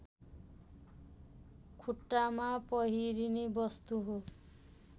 खुट्टामा पहिरिने वस्तु हो